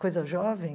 Coisa jovem?